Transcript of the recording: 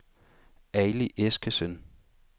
Ali Eskesen